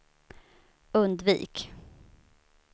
undvik